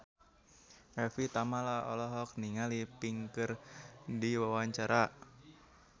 Evie Tamala olohok ningali Pink keur diwawancara